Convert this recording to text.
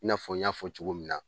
I n'a fɔ, n y'a fɔ cogo min na.